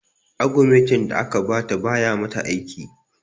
Agumentin da aka ba ta ba ya mata aiki